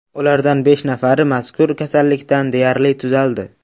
Ulardan besh nafari mazkur kasallikdan deyarli tuzaldi .